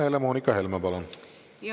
Helle-Moonika Helme, palun!